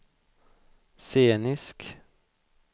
scenisk